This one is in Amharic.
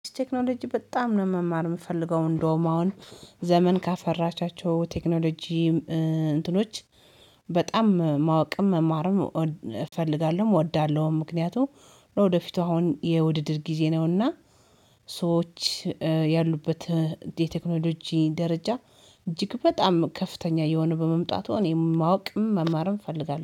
ቴክኖሎጂ በጣም ነው መማር የምፈልገው እንደውም አሁን ዘመን ካፈራቻቸው ቴክኖሎጂ እንትኖች በጣም ማወቅም መማርም እፈልጋለሁ እወዳለሁም። ምክንያቱም ለወደፊቱ አሁን የውድድር ጊዜ ነውና ሰዎች ያሉበት የቴክኖሎጂ ደረጃ እጅግ በጣም ከፍተኛ እየሆነ በመምጣቱ እኔ ማወቅም መማርም እፈልጋለሁ